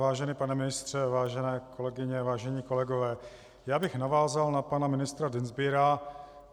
Vážený pane ministře, vážené kolegyně, vážení kolegové, já bych navázal na pana ministra Dienstbiera.